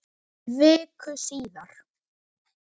Illa sek.